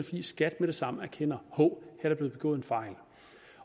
fordi skat med det samme erkender hov her er der blevet begået en fejl